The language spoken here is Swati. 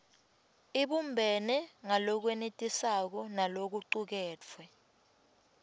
ibumbene ngalokwenetisako nalokucuketfwe